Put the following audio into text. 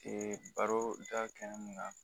baro da kɛnɛ ma